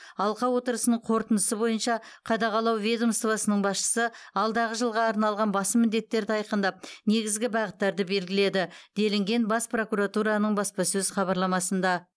алқа отырысының қорытындысы бойынша қадағалау ведомствосының басшысы алдағы жылға арналған басым міндеттерді айқындап негізгі бағыттарды белгіледі делінген бас прокуратураның баспасөз хабарламасында